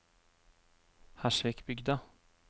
Hersvikbygda